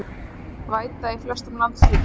Væta í flestum landshlutum